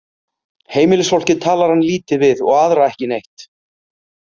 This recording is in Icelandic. Heimilisfólkið talar hann lítið við og aðra ekki neitt.